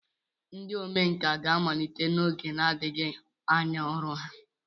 Ndị omenkà ga-amalite n'oge na-adịghị anya ọrụ ha.